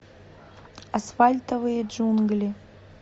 асфальтовые джунгли